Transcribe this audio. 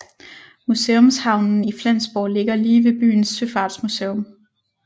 Museumshavnen i Flensborg ligger lige ved byens søfartsmuseum